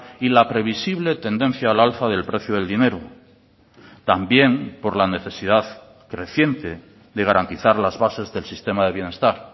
y la previsible tendencia al alza del precio del dinero también por la necesidad creciente de garantizar las bases del sistema de bienestar